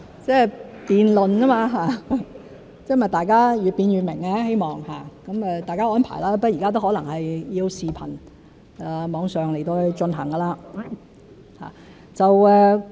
辯論而已，希望大家越辯越明，有待大家安排，不過現在可能大家要以視頻在網上進行。